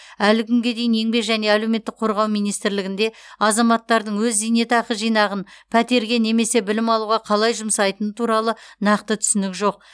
әлі күнге дейін еңбек және әлеуметтік қорғау министрлігінде азаматтардың өз зейнетақы жинағын пәтерге немесе білім алуға қалай жұмсайтыны туралы нақты түсінік жоқ